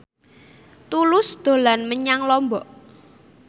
Tulus dolan menyang Lombok